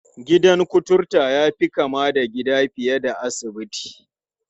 Gidan kuturta ya fi kama da gida fiye da asibiti.